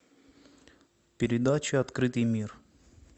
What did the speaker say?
передача открытый мир